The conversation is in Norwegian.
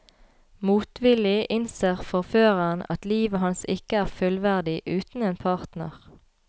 Motvillig innser forføreren at livet hans ikke er fullverdig uten en partner.